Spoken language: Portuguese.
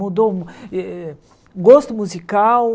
Mudou eh gosto musical,